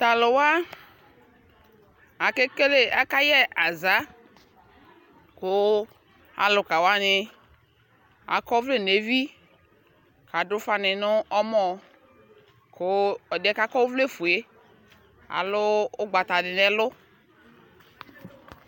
Tʋ alʋ wa, akekele akayɛ aza kʋ alʋka wanɩ akɔ ɔvlɛ nʋ evi kʋ adʋ ʋfanɩ nʋ ɔmɔ kʋ ɛdɩ yɛ kʋ akɔ ɔvlɛfue yɛ alʋ ʋgbata dɩ nʋ ɛlʋ